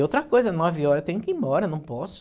E outra coisa, nove horas eu tenho que ir embora, não posso.